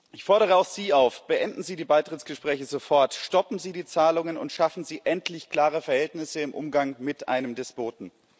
Ich fordere auch Sie auf Beenden Sie die Beitrittsgespräche sofort, stoppen Sie die Zahlungen und schaffen Sie endlich klare Verhältnisse im Umgang mit einem Despoten!